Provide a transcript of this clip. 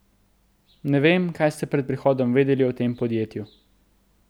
Ne vem, kaj ste pred prihodom vedeli o tem podjetju.